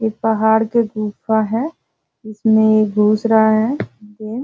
एक पहाड़ के गुफा है जिस में घुस रहा है --